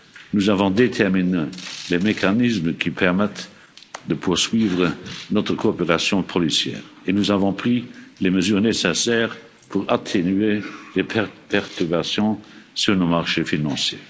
pêche. Nous avons prévu les mécanismes qui permettent de poursuivre notre coopération policière et nous avons pris les mesures nécessaires pour atténuer les perturbations sur nos marchés financiers.